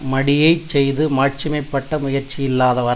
மடியைச் செய்து மாட்சிமை பட்ட முயற்சி யில்லாதார்